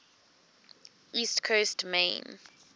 east coast maine